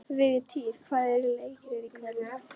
Vigtýr, hvaða leikir eru í kvöld?